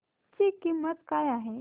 ची किंमत काय आहे